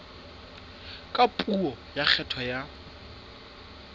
ka puo ya kgetho ya